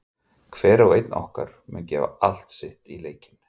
Hver og einn okkar mun gefa allt sitt í leikinn.